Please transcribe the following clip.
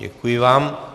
Děkuji vám.